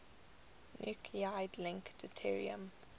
nuclide link deuterium